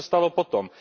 A co se stalo potom?